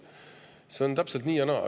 See on nii ja naa.